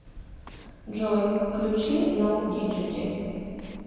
джой включи ноу диджити